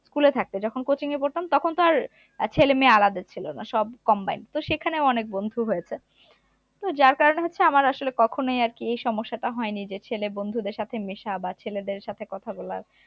school এ থাকতে যখন coaching এ পড়তাম তখন তো আর ছেলেমেয়ে আলাদা ছিল না সবাই combined তো সেখানে অনেক বন্ধু হয়েছে তো যার কারনে হচ্ছে আমার আসলে কখনোই আর কি এই সমস্যাটা হয়নি যে ছেলে বন্ধুদের সাথে মেশা আবার ছেলে দের সাথে কথা বলার